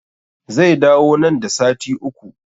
Zai dawo nan da sati uku